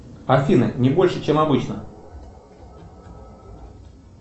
афина не больше чем обычно